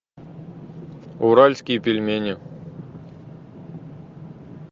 уральские пельмени